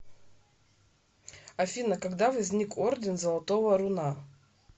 афина когда возник орден золотого руна